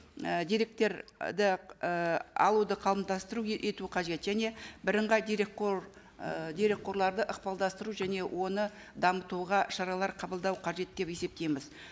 ы деректер і і алуды ету қажет және бірыңғай дерекқор ы дерекқорларды ықпалдастыру және оны дамытуға шаралар қабылдау қажет деп есептейміз